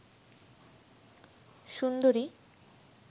সুন্দরী